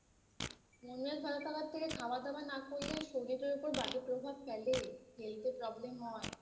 মন মেজাজ ভালো থাকার থেকে খাওয়া দাওয়া না করলেই শরীরের ওপর বাজে প্রভাব ফেলেই ফেলতে Problem হয়